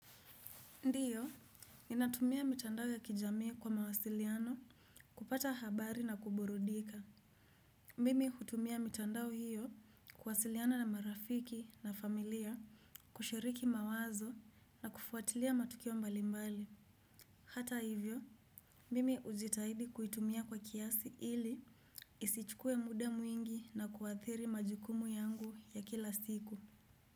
Ndiyo, ninatumia mitandao ya kijami kwa mawasiliano kupata habari na kuburudika. Mimi hutumia mitandao hiyo kuwasiliana na marafiki na familia kushiriki mawazo na kufuatilia matukio mbalimbali. Hata hivyo, mimi hujitahidi kuitumia kwa kiasi ili isichukue muda mwingi na kuathiri majukumu yangu ya kila siku.